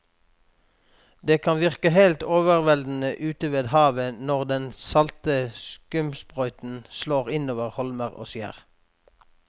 Det kan virke helt overveldende ute ved havet når den salte skumsprøyten slår innover holmer og skjær.